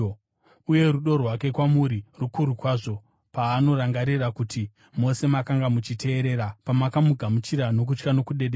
Uye rudo rwake kwamuri rukuru kwazvo paanorangarira kuti mose makanga muchiteerera, pamakamugamuchira nokutya nokudedera.